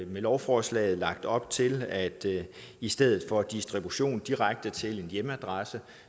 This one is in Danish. med lovforslaget lagt op til at i stedet for distribution direkte til en hjemmeadresse